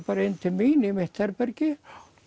bara inn til mín í mitt herbergi